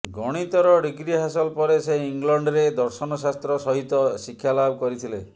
ଗଣିତର degree ହାସଲ ପରେ ସେ ଇଂଲଣ୍ଡରେ ଦର୍ଶନ ଶାସ୍ତ୍ର ସହିତ ଶିକ୍ଷାଲାଭ କରିଥିଲେ